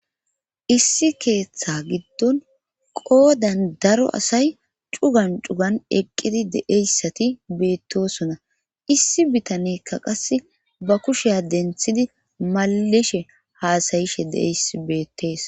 issi keeththa giddon qoodan daro asay cugan cugan eqqidi deeyssati beettosona issi bitanekka qas ba kushiya denthidi mallishe haasayishe deeys beettees